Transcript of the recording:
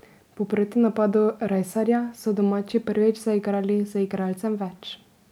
Po protinapadu Rajsarja so domači prvič zaigrali z igralcem več.